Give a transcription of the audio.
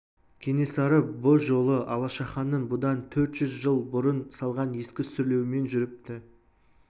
кенесары бұ жолы алашаханның бұдан төрт жүз жыл бұрын салған ескі сүрлеуімен жүріпті